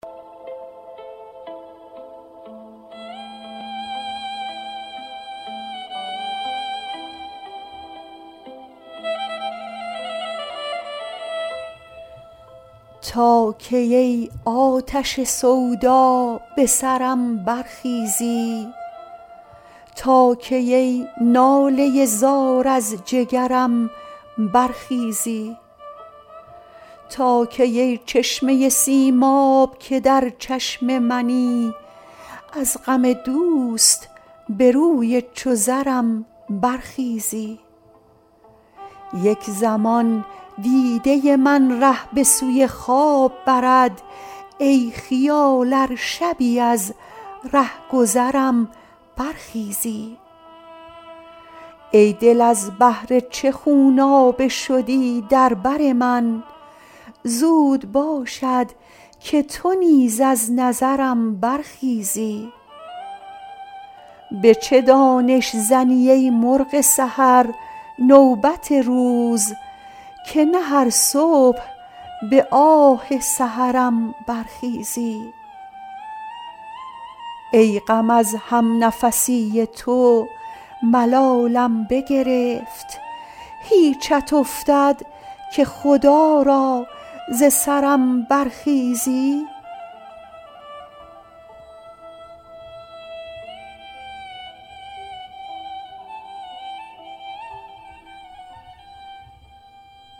تا کی ای آتش سودا به سرم برخیزی تا کی ای ناله زار از جگرم برخیزی تا کی ای چشمه سیماب که در چشم منی از غم دوست به روی چو زرم برخیزی یک زمان دیده من ره به سوی خواب برد ای خیال ار شبی از رهگذرم برخیزی ای دل از بهر چه خونابه شدی در بر من زود باشد که تو نیز از نظرم برخیزی به چه دانش زنی ای مرغ سحر نوبت روز که نه هر صبح به آه سحرم برخیزی ای غم از همنفسی تو ملالم بگرفت هیچت افتد که خدا را ز سرم برخیزی